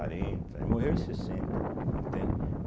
Ele morreu em sessenta, entende.